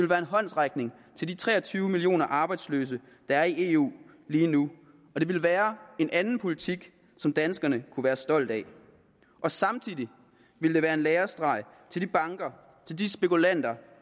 være en håndsrækning til de tre og tyve millioner arbejdsløse der er i eu lige nu og det vil være en anden politik som danskerne kunne være stolte af samtidig ville det være en lærestreg til de banker og til de spekulanter